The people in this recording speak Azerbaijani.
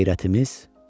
Qeyrətimiz.